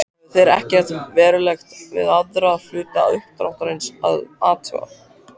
Höfðu þeir ekkert verulegt við aðra hluta uppdráttarins að athuga.